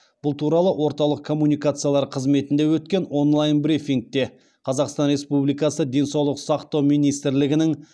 бұл туралы орталық коммуникациялар қызметінде өткен онлайн брифингте қазақстан республикасы денсаулық сақтау министрлігінің